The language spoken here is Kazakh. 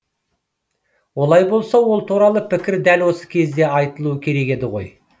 олай болса ол туралы пікір дәл осы кезде айтылуы керек еді ғой